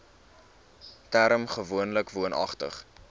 term gewoonlik woonagtig